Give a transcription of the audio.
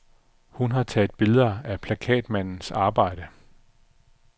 Hun taget billeder af plakatmandens arbejde.